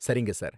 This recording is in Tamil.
சரிங்க சார்